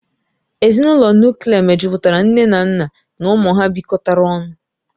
Ezinụlọ Nuklia mejupụtara nne na nna na ụmụ ha bịkotara ọnụ